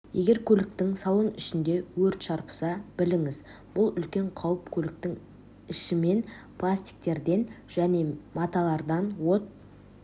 егер көліктің салон ішінде өрт шарпыса біліңіз бұл үлкен қауіп көліктің ішімен пластиктерден және маталардан от